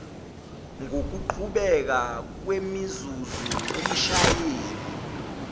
ngokuqhubeka kwemizuzu umshayeli